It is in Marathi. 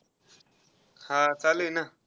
हा, चालू आहे ना.